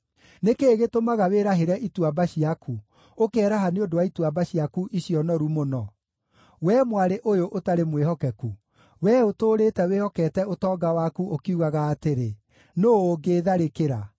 Nĩ kĩĩ gĩtũmaga wĩrahĩre ituamba ciaku, ũkeraha nĩ ũndũ wa ituamba ciaku icio noru mũno? Wee mwarĩ ũyũ ũtarĩ mwĩhokeku, wee ũtũũrĩte wĩhokete ũtonga waku ũkiugaga atĩrĩ, ‘Nũũ ũngĩĩtharĩkĩra?’